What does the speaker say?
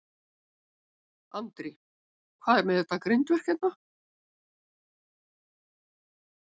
Andri: Hvað er með þetta grindverk hérna?